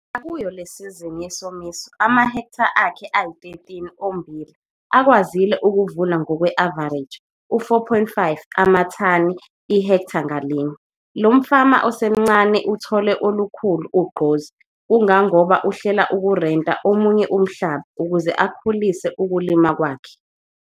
Nakuyo le sizini yesomiso amahektha akhe ayi-13 ommbila ukwazile ukuvuna ngokwe-avareji u-4,5 amathani ihektha ngalinye. Lo mfama osemncane uthole ulukhulu ugqozi kangangoba uhlela ukurenta omunye umhlaba ukuze akhulise ukulima kwakhe.